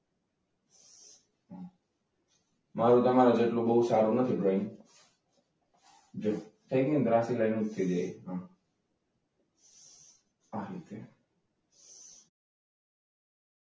મારુ તમારા જેટલું બહુ સારું નથી ડ્રોઈંગ. જો થઈ ગયું ને ત્રાસી લાઈન થઈ ગઈ છે. આ રીતે.